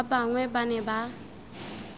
ba bangwe ba ne ba